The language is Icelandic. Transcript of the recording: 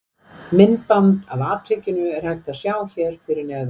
Myndband af atvikinu er hægt að sjá hér fyrir neðan.